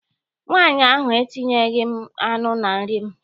Nwaanyị ahụ etinyeghịrị m anụ na nri m.